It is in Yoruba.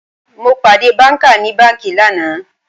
Mo pàdé banka ní banki lánàá